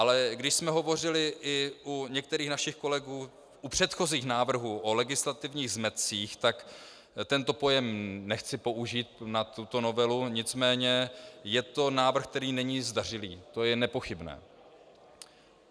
Ale když jsme hovořili i u některých našich kolegů u předchozích návrhů o legislativních zmetcích, tak tento pojem nechci použít na tuto novelu, nicméně je to návrh, který není zdařilý, to je nepochybné.